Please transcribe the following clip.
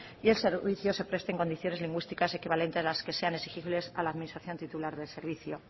y el servicio se preste en condiciones lingüísticas equivalentes a las que sean exigibles a la administración titular del servicio